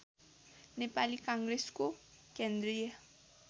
नेपाली काङ्ग्रेसको केन्द्रीय